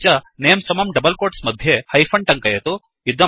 अपि च नमे समं डबल् कोट्स् मध्ये हैफन् टङ्कयतु